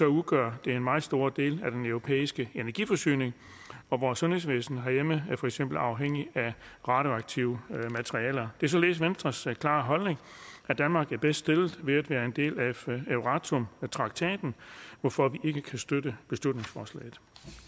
udgør det en meget stor del af den europæiske energiforsyning og vores sundhedsvæsen herhjemme er for eksempel afhængig af radioaktive materialer det er således venstres klare holdning at danmark er bedst stillet ved at være en del af euratom traktaten hvorfor vi ikke kan støtte beslutningsforslaget